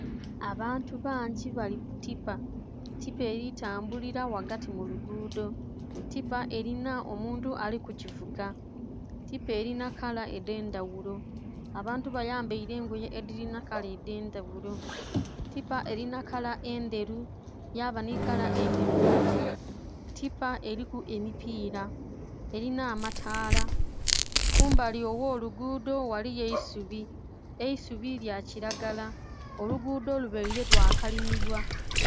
Abantu bangi bali ku tipa, tipa eli tambulira wagati mu luguudo, tipa elina omuntu ali kugivuga, tipa elina kala edh'endhaghulo. Abantu bayambaile engoye edhilina kala edh'endhaghulo, tipa elina kala endheru yaba nhi kala endhirugavu. Tipa eliku emipiira, elina amataala. Kumbali ogh'oluguudo ghaliyo eisubi, eisubi lya kilagala, oluguudo lubaile lwakalimibwa.